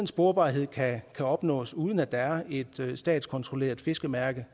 sporbarhed kan opnås uden at der er et statskontrolleret fiskemærke